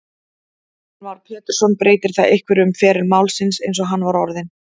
Heimir Már Pétursson: Breytir það einhverju um feril málsins eins og hann var orðinn?